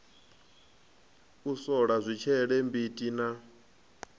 u sola zwitshele mbiti na